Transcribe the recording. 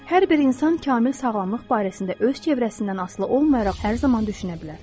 Hər bir insan kamil sağlamlıq barəsində öz çevrəsindən asılı olmayaraq hər zaman düşünə bilər.